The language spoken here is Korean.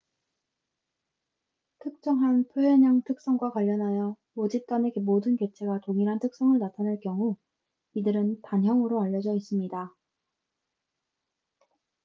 특정한 표현형 특성과 관련하여 모집단의 모든 개체가 동일한 특성을 나타낼 경우 이들은 단형으로 알려져 있습니다